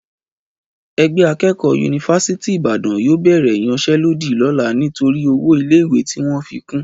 Ẹgbẹ́ akẹ́kọ̀ọ́ yunifásítì Ìbàdàn yóò bẹ̀rẹ̀ ìyanṣẹ́lódì lọ́la nítorí owó ilé ìwé tí wọ́n fi kún